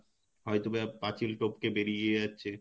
হয়তো পাচিল টপকে বেরিয়ে যাচ্ছে